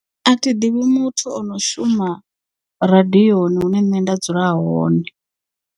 A thiḓivhi muthu o no shuma radiyoni hune nṋe nda dzula hone.